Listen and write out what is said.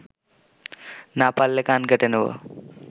না পারলে কান কেটে নিব